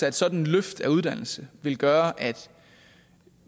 at sådan et løft af uddannelsen vil gøre at